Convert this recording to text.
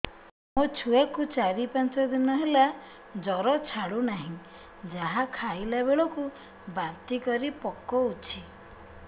ମୋ ଛୁଆ କୁ ଚାର ପାଞ୍ଚ ଦିନ ହେଲା ଜର ଛାଡୁ ନାହିଁ ଯାହା ଖାଇଲା ବେଳକୁ ବାନ୍ତି କରି ପକଉଛି